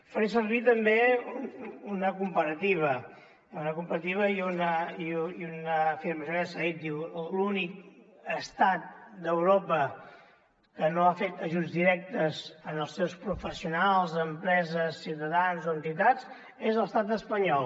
faré servir també una comparativa una comparativa i una afirmació ja s’ha dit l’únic estat d’europa que no ha fet ajuts directes en els seus professionals empreses ciutadans o entitats és l’estat espanyol